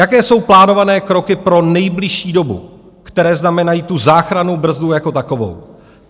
Jaké jsou plánované kroky pro nejbližší dobu, které znamenají tu záchrannou brzdu jako takovou.